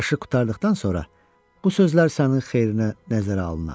Barışıq qurtardıqdan sonra bu sözlər sənin xeyrinə nəzərə alınar.